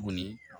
Tuguni